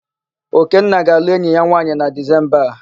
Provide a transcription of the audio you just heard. Okenna ga-alụ enyi ya nwaanyị na Dizemba a.